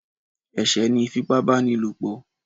Ẹ̀sẹ̀ ni ìfipábánilòpò